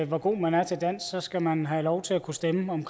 hvor god man er til dansk skal man have lov til at kunne stemme om